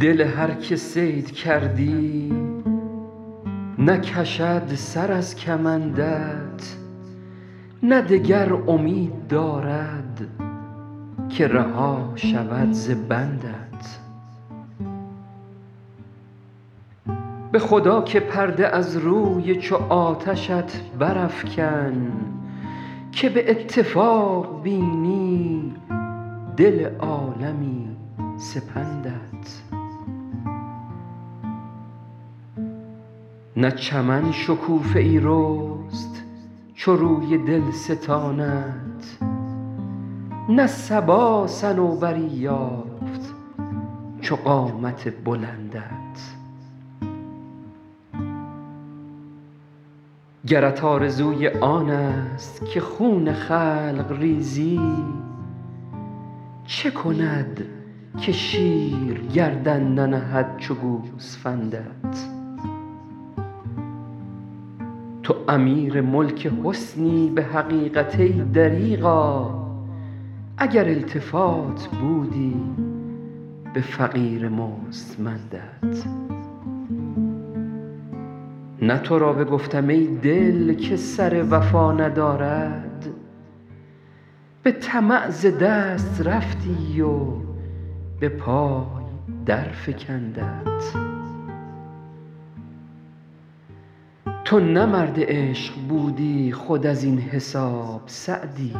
دل هر که صید کردی نکشد سر از کمندت نه دگر امید دارد که رها شود ز بندت به خدا که پرده از روی چو آتشت برافکن که به اتفاق بینی دل عالمی سپندت نه چمن شکوفه ای رست چو روی دلستانت نه صبا صنوبری یافت چو قامت بلندت گرت آرزوی آنست که خون خلق ریزی چه کند که شیر گردن ننهد چو گوسفندت تو امیر ملک حسنی به حقیقت ای دریغا اگر التفات بودی به فقیر مستمندت نه تو را بگفتم ای دل که سر وفا ندارد به طمع ز دست رفتی و به پای درفکندت تو نه مرد عشق بودی خود از این حساب سعدی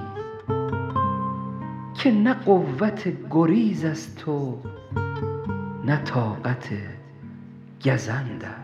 که نه قوت گریزست و نه طاقت گزندت